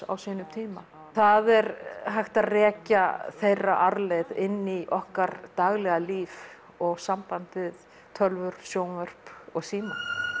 á sínum tíma það er hægt að rekja þeirra arfleið inn í okkar daglega líf og samband við tölvur sjónvörp og síma